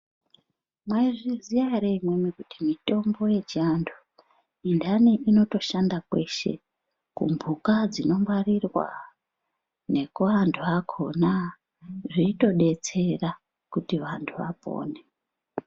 Mwaizviziya ere imwimwi kuti mitombo yechiantu inhani yakhona inotoshanda kweshe kumhuka dzinongwarirwa nekuantu akhona zveitodetsera kuti antu apone.